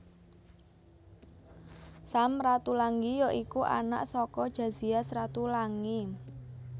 Sam Ratulangi ya iku anak saka Jozias Ratulangi